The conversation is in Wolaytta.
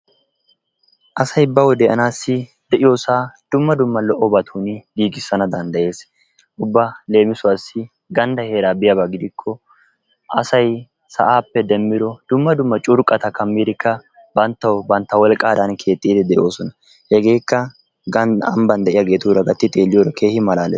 asay bawu de'anassi de'iyoosa dumma dumma lo''obatun giigissanadanddayees. ubba leemisuwassi gandda heeraa biyaaba gidikko asay sa'aappe demmido dumma dumma curqqaata kammidikka banttaw bantta wolqqadaan keexxid de'oosona. hegekka ambban de; iyaageetuura gatti xeelliyoode keehin malaales.